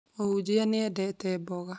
Mũhunjia nĩ endete mboga